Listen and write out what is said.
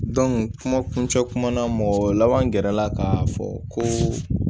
kuma kuncɛ kuma na mɔgɔ laban gɛrɛ la ka fɔ ko